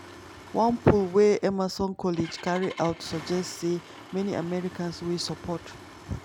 one poll wey emerson college carry out suggest say many americans wey support